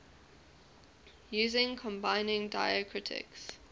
using combining diacritics